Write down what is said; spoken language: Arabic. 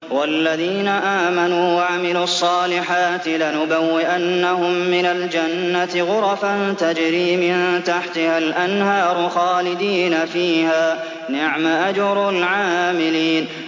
وَالَّذِينَ آمَنُوا وَعَمِلُوا الصَّالِحَاتِ لَنُبَوِّئَنَّهُم مِّنَ الْجَنَّةِ غُرَفًا تَجْرِي مِن تَحْتِهَا الْأَنْهَارُ خَالِدِينَ فِيهَا ۚ نِعْمَ أَجْرُ الْعَامِلِينَ